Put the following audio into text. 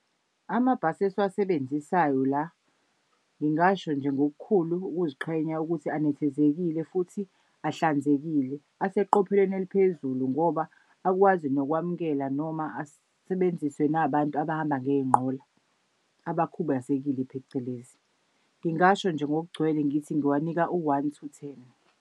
Amabhasi esiwasebenzisayo la ngingasho nje ngokukhulu ukuziqhenya ukuthi anethezekile futhi ahlanzekile. Aseqopheleni eliphezulu ngoba akwazi nokwamukela noma asebenziswe nabantu abahamba ngey'nqola abakhubazekile phecelezi. Ngingasho nje ngokugcwele ngithi ngiwanika u-one to ten.